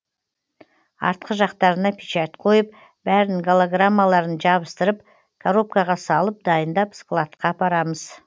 артқы жақтарына печать қойып бәрін голограммаларын жабыстырып коробкаға салып дайындап складқа апарамыз